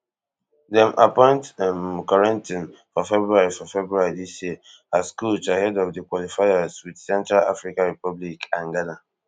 dem appoint um corentin for february for february dis year as coach ahead of di qualifiers wit central africa republic and ghana